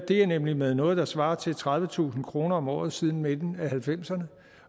er nemlig med noget der svarer til tredivetusind kroner om året siden midten af nitten halvfemserne